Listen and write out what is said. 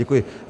Děkuji.